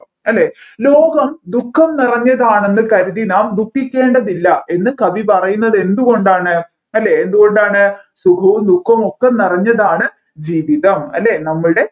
അല്ലെ ലോകം ദുഃഖം നിറഞ്ഞതാണെന്ന് കരുതി നാം ദുക്കികേണ്ടതില്ല എന്ന് കവി പറയുന്നത് എന്തുകൊണ്ടാണ് അല്ലെ എന്ത് കൊണ്ടാണ് സുഖവും ദുഃഖവും ഒക്കെ നിറഞ്ഞതാണ് ജീവിതം അല്ലെ നമ്മൾടെ